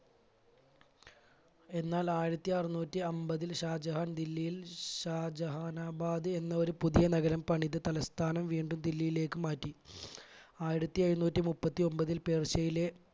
എന്നാൽ ആയിരത്തി അറുനൂറ്റി അൻപതിൽ ഷാജഹാൻ ദില്ലിയിൽ ഷാജഹാനാബാദ് എന്ന ഒരു പുതിയ നഗരം പണിത് തലസ്ഥാനം വീണ്ടും ദില്ലിയിലേക്ക് മാറ്റി. ആയിരത്തി എഴുനൂറ്റി മുപ്പത്തി ഒൻപതിൽ പേർഷ്യയിലെ